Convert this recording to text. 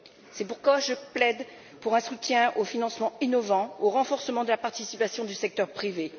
C'est pourquoi je plaide pour un soutien aux financements innovants et au renforcement de la participation du secteur privé.